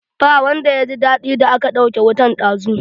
Ba wanda ya ji daɗi da aka ɗauke wutan dazu